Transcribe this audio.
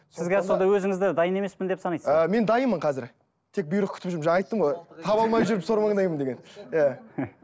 сіз сонда өзіңізді дайын емеспін деп санайсыз ба ы мен дайынмын қазір тек бұйрық күтіп жүрмін жаңа айттым ғой таба алмай жүріп сор маңдаймын деген иә